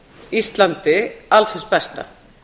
íslandi alls hins besta